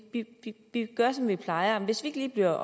gør som vi plejer hvis vi ikke lige bliver